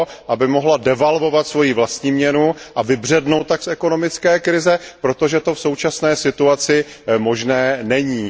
aby mohla devalvovat svoji vlastní měnu a vybřednout tak z ekonomické krize, protože to v současné situaci možné není.